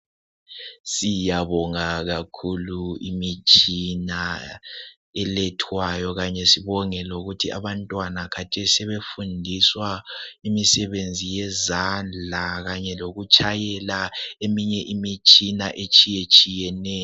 Siyabonga kakhulu imithi elathwayo futhi sibonge lokuthi abantwana khathesi sebefundiswa imisebenzi yezandla lakanye lokutshayela eminye imitshina etshiyetshiyeneyo